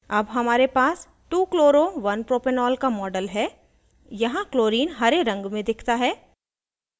अब हमारे पास 2chloro1propanol का model है यहाँ chlorine हरे रंग में दिखता है